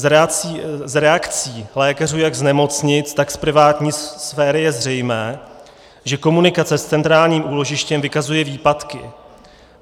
Z reakcí lékařů jak z nemocnic, tak z privátní sféry je zřejmé, že komunikace s centrálním úložištěm vykazuje výpadky.